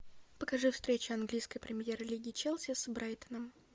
покажи встречу английской премьер лиги челси с брайтоном